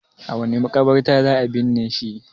a wace makabarta za a binne shi